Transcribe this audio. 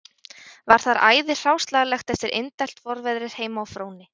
Var þar æði hráslagalegt eftir indælt vorveðrið heima á Fróni